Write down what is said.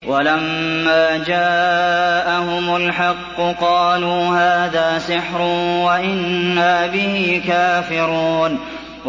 وَلَمَّا جَاءَهُمُ الْحَقُّ قَالُوا هَٰذَا سِحْرٌ وَإِنَّا بِهِ كَافِرُونَ